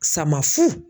Sama fu